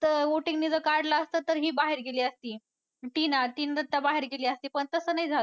तर voting ने जर काढलं असतं तर ही बाहेर गेली असती. टिना. टिन दाता बाहेर गेली असती पण तसं नाही झालं.